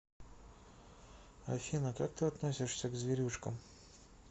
афина как ты относишься к зверюшкам